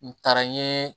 N taara n ye